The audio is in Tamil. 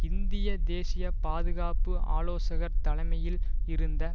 இந்திய தேசிய பாதுகாப்பு ஆலோசகர் தலைமையில் இருந்த